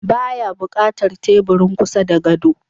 Ba ya buƙatar teburin kusa da gado.